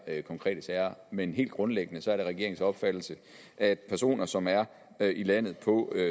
her konkrete sager men helt grundlæggende er det regeringens opfattelse at personer som er her i landet på